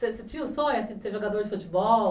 Você tinha o sonho de ser jogador de futebol?